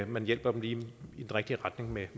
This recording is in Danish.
man hjælper dem lige i den rigtige retning med